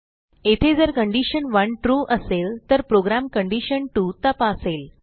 येथे जर condition 1 true असेल तर प्रोग्रॅम कंडिशन 2 तपासेल